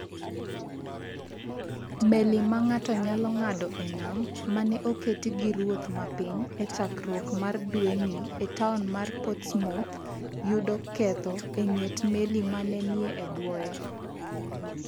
Meli ma ng’ato nyalo ng’ado e nam, ma ne oket gi ruoth ma piny e chakruok mar dwe ni e taon mar Portsmouth, yudo ketho e ng’et meli ma ne ni e bwoye.